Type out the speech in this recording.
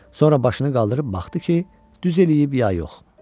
Sonra başını qaldırıb baxdı ki, düz eləyib ya yox.